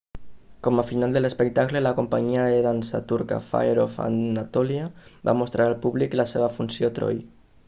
com a final de l'espectacle la companyia de dansa turca fire of anatolia va mostrar al públic la seva funció troy